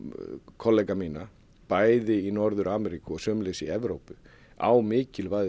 kollega minna bæði í Norður Ameríku og sömuleiðis í Evrópu á mikilvægi